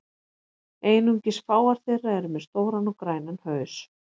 Einungis fáar þeirra eru með stóran og grænan haus.